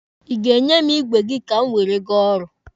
Ị ga-enye m igwe gị ka m were gaa ọrụ?